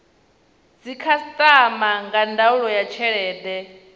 dzikhasiama nga ndaulo ya tshelede